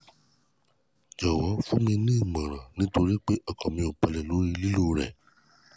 jọ̀wọ́ fún mi ní ìmọ̀ràn nítorí pé ọkàn mi ò balẹ̀ lórí lílò rẹ̀